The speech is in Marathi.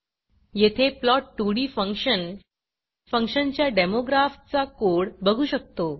येथे plot2डी फंक्शन फंक्शनच्या डेमो ग्राफचा कोड बघू शकतो